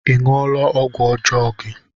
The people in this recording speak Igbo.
Ị ṅụọla ọgwụ ọjọọ gị?